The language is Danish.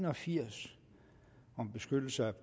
og firs om beføjelser